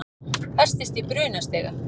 Festist í brunastiga